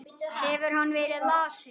Hefur hann verið lasinn?